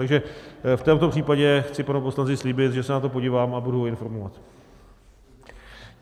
Takže v tomto případě chci panu poslanci slíbit, že se na to podívám a budu ho informovat.